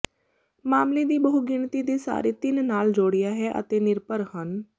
ਮਾਮਲੇ ਦੀ ਬਹੁਗਿਣਤੀ ਦੇ ਸਾਰੇ ਤਿੰਨ ਨਾਲ ਜੋੜਿਆ ਹੈ ਅਤੇ ਨਿਰਭਰ ਹਨ